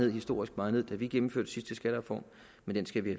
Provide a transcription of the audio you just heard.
og historisk meget ned da vi gennemførte den sidste skattereform men den skal vi